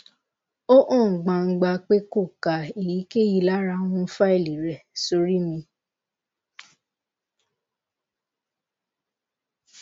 o han gbangba pe ko ka eyikeyi lara awon faili re sori mi